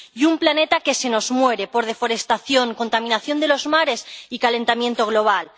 Y un planeta que se nos muere por deforestación, contaminación de los mares y calentamiento global.